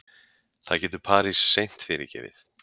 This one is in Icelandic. Það getur Paris seint fyrirgefið